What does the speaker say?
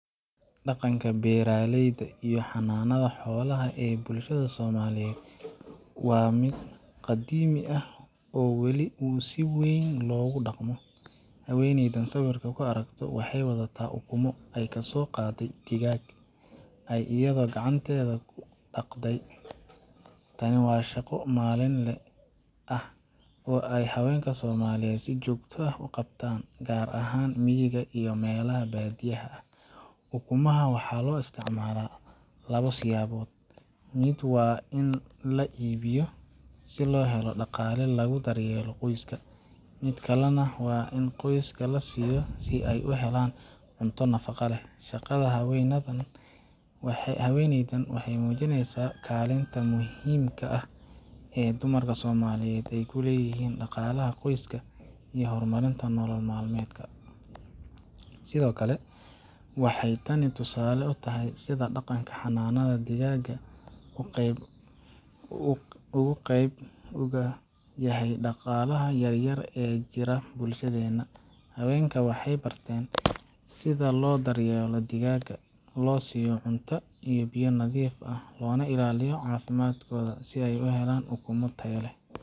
Dhaqanka beeralayda iyo xanaanada xoolaha ee bulshada Soomaaliyeed waa mid qadiimi ah oo weli si weyn loogu dhaqmo. Haweeneyda aad sawirka ku aragto waxay wadataa ukumo ay kasoo qaaday digaag ay iyadu gacanteeda ku dhaqday. Tani waa shaqo maalinle ah oo ay haweenka Soomaaliyeed si joogto ah u qabtaan, gaar ahaan miyiga iyo meelaha baadiyaha ah. Ukumaha waxaa loo isticmaalaa laba siyaabood: mid waa in la iibiyo si loo helo dhaqaale lagu daryeelo qoyska, mid kalena waa in qoyska la siiyo si ay u helaan cunto nafaqo leh. Shaqada haweeneydan waxay muujinaysaa kaalinta muhiimka ah ee dumarka Soomaaliyeed ay ku leeyihiin dhaqaalaha qoyska iyo horumarinta nolol maalmeedka. Sidoo kale, waxay tani tusaale u tahay sida dhaqanka xanaanada digaaga uu qeyb uga yahay dhaqaalaha yaryar ee ka jira bulshadeena. Haweenka waxay bartaan sida loo daryeelo digaaga, loo siiyo cunto iyo biyo nadiif ah, loona ilaaliyo caafimaadkooda, si ay u helaan ukumo tayo leh.